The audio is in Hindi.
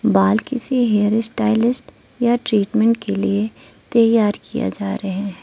बाल किसी हेयर स्टाइलिस्ट या ट्रीटमेंट के लिए तैयार किया जा रहे हैं।